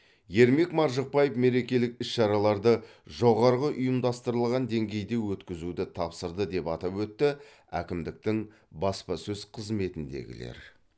ермек маржықпаев мерекелік іс шараларды жоғарғы ұйымдастырылған деңгейде өткізуді тапсырды деп атап өтті әкімдіктің баспасөз қызметіндегілер